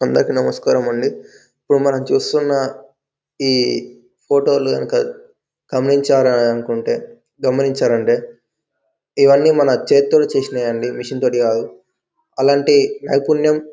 అందరకి నమస్కారం అండి ఇప్పుడు మనం చూస్తున్న ఈ ఫోటో గనుక గమనించారా అనుకుంటే గమనించారు అంటే ఇవన్నీ మన చేత్తోనే చేసినయండి మిషన్ తోటి కాదు అలాంటి నైపుణ్యం--